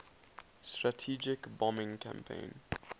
strategic bombing campaign